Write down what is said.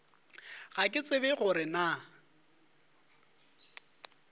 ga ke tsebe gore na